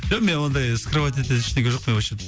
жоқ менде ондай скрывать ететін ештеңке жоқ қой вообще